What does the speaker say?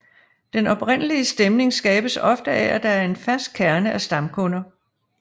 Den oprindelige stemning skabes ofte af at der er en fast kerne af stamkunder